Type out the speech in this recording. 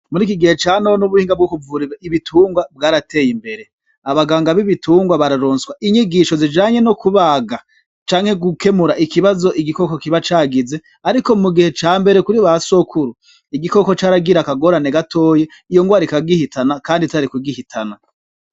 Muri iki gihe ca none ubuhinga bwo kuvura ibitungwa bwarateye imbere, abaganga b'ibitungwa bararonswa inyigisho zijanye no kubaga, canke gukemura ikibazo igikoko kiba cagize, ariko mu gihe ca mbere kuri ba sokuru, igikoko caragira akagorane gatoyi iyo ngwara ikagihitana kandi itari kugihitana.